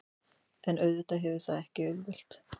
En auðvitað verður það ekki auðvelt